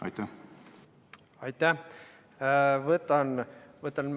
Aitäh!